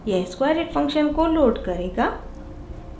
यह squareit function को load करेगा